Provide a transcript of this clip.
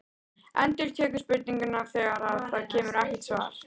Endurtekur spurninguna þegar það kemur ekkert svar.